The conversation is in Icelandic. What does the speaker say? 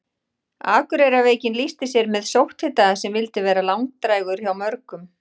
Akureyrarveikin lýsti sér með sótthita sem vildi vera langdrægur hjá mörgum.